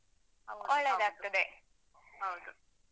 ಹೌದು.